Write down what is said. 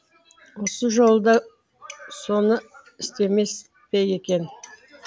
осы жолы да соны істемес пе екен